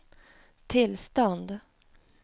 tillstånd